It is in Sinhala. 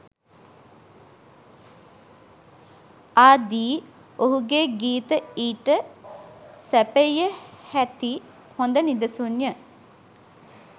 ආදී ඔහුගේ ගීත ඊට සැපයිය හැති හොද නිදසුන්ය.